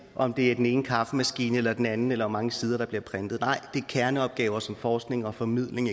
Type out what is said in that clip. om det er den ene kaffemaskine eller den anden eller hvor mange sider der bliver printet nej det er kerneopgaver som eksempelvis forskning og formidling